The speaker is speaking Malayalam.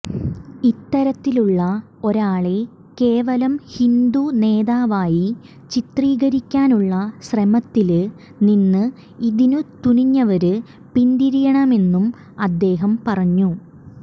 ഇത്തരത്തിലുള്ള ഒരാളെ കേവലം ഹിന്ദു നേതാവായി ചിത്രീകരിക്കാനുള്ള ശ്രമത്തില് നിന്ന് ഇതിന് തുനിഞ്ഞവര് പിന്തിരിയണമെന്നും അദ്ദേഹം പറഞ്ഞു